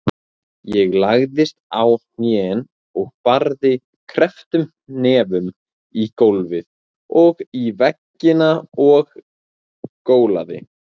Ég lagðist á hnén og barði krepptum hnefum í gólfið og í veggina og gólaði.